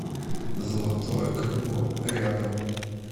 золотое крыло рядом